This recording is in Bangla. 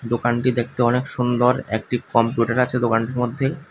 দোকানটি দেখতে অনেক সুন্দর একটি কম্পিউটার আছে দোকানটির মধ্যে।